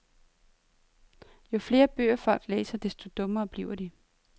Jo flere bøger folk læser, desto dummere bliver de.